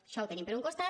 això ho tenim per un costat